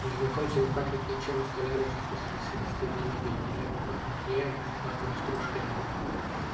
у незнакомца не пахнет ничем у столяра же в квартире всегда стоит туман и великолепно пахнет клеем лаком и стружками